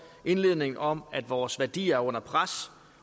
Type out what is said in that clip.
indledningen om at vores værdier er under pres